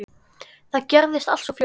Það gerðist allt svo fljótt.